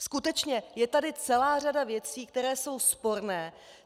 Skutečně, je tady celá řada věcí, které jsou sporné.